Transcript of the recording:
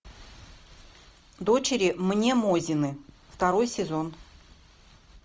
дочери мнемозины второй сезон